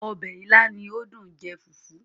Ọbẹ̀ ìlà ni ó dùn jẹ fùfú